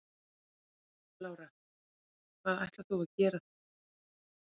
Lára: Hvað ætlar hún að gera þar?